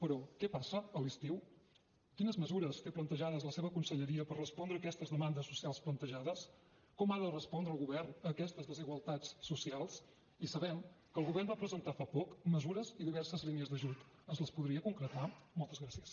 però què passa a l’estiu quines mesures té plantejades la seva conselleria per respondre aquestes demandes socials plantejades com ha de respondre el govern a aquestes desigualtats socials i sabem que el govern va presentar fa poc mesures i diverses línies d’ajut ens les podria concretar moltes gràcies